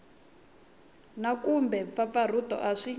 na kumbe mpfampfarhuto a swi